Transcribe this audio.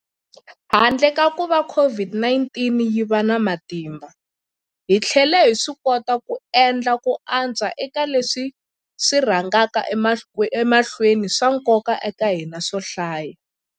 Handle ka kuva COVID-19 yi va na matimba, hi tlhele hi swikota ku endla ku antswa eka leswi swi rhangaka emahlweni swa nkoka eka hina swo hlaya.